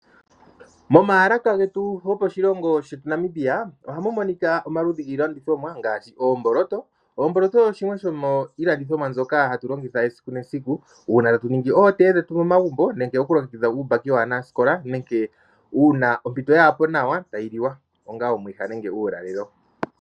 Momayalaka getu goposhilongo shetu Namibia, ohamu monika omaludhi giilandithomwa ngaashi oomboloto. Oomboloto shimwe shomiilandithomwa mbyoka hatu longitha esiku nesiku uuna tatu ningi ootee dhetu momagumbo nenge okulongekidha uumbaki waanasikola nenge uuna ompito yaapo nawa, tayi li wa onga omwiha nenge uulalelo.